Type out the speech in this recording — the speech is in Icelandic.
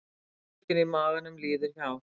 Sársaukinn í maganum líður hjá.